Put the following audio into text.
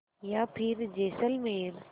या फिर जैसलमेर